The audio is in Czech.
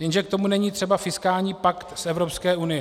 Jenže k tomu není třeba fiskální pakt z Evropské unie.